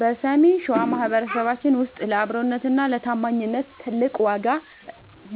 በሰሜን ሸዋ ማኅበረሰባችን ውስጥ ለአብሮነትና ለታማኝነት ትልቅ ዋጋ